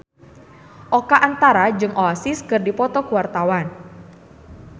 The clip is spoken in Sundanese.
Oka Antara jeung Oasis keur dipoto ku wartawan